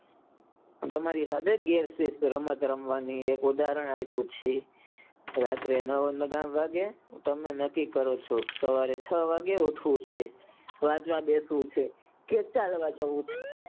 તમારીજેવું જ એક ઉદાહરણ આપું છે રાત્રે મોડા સુધી જાગે અને સવારે નકી કરો છોકે એ સવારે છ વાગે જાગવું છે વાંચવા બેસવું છે પણ કેટલા વાગે.